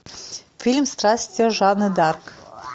фильм страсти жанны д арк